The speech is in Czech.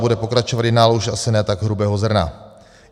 Bude pokračovat jiná, už asi ne tak hrubého zrna.